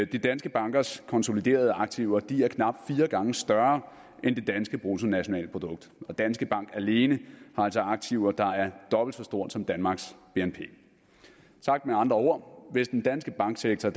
de danske bankers konsoliderede aktiver er knap fire gange større end det danske bruttonationalprodukt og danske bank alene har altså aktiver der er dobbelt så store som danmarks bnp sagt med andre ord hvis den danske banksektor